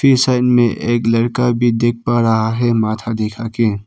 इस साइड मे एक लड़का भी देख पा रहा है माथा दिखा के।